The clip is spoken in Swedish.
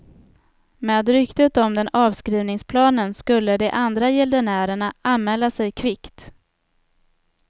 Med ryktet om den avskrivningsplanen skulle de andra gäldenärerna anmäla sig kvickt.